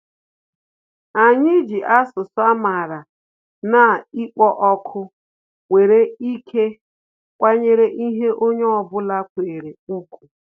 Anyị ji asụsụ amara na-ịkpọ òkù nwere ike kwanyere ihe onye ọ bụla kwere ùgwù